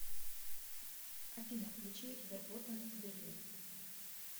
афина включи верботен берлин